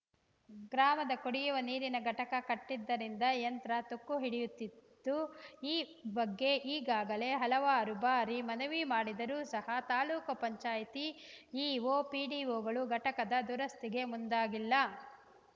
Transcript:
ಗ್ರಾಮದ ಕುಡಿಯುವ ನೀರಿನ ಘಟಕ ಕೆಟ್ಟಿದ್ದರಿಂದ ಯಂತ್ರ ತುಕ್ಕು ಹಿಡಿಯುತ್ತಿದ್ದು ಈ ಬಗ್ಗೆ ಈಗಾಗಲೇ ಹಲವಾರು ಬಾರಿ ಮನವಿ ಮಾಡಿದರೂ ಸಹ ತಾಲೂಕು ಪಂಚಾಯಿತಿ ಇಒ ಪಿಡಿಒಗಳು ಘಟಕದ ದುರಸ್ತಿಗೆ ಮುಂದಾಗಿಲ್ಲ